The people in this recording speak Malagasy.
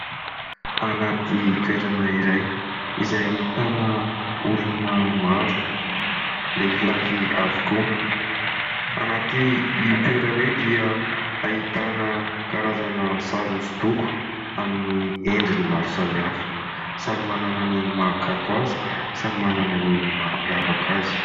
Anaty toerana iray izay ahitana olona maro lehilahy avokoa. Ao anaty io toerana io dia ahitana karazana sary hosodoko amin'ny endriny maro samihafa, samy manana ny mahakanto azy, samy manana ny mampiavaka azy.